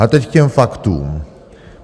Ale teď k těm faktům.